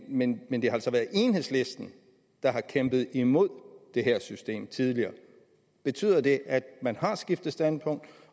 men men det har altså været enhedslisten der har kæmpet imod det her system tidligere betyder det at man har skiftet standpunkt